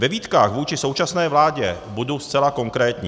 Ve výtkách vůči současné vládě budu zcela konkrétní.